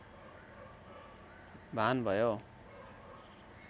भान भयो